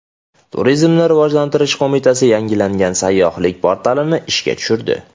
Turizmni rivojlantirish qo‘mitasi yangilangan sayyohlik portalini ishga tushirdi.